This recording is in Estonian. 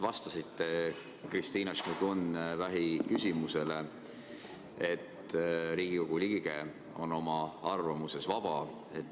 Vastasite Kristina Šmigun-Vähi küsimusele, et Riigikogu liige on oma arvamuses vaba.